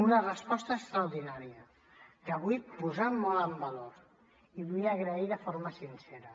una resposta extraordinària que vull posar molt en valor i vull agrair de forma sincera